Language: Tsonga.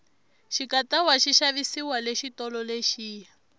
xikatawa xi xavisiwa le xitolo lexiya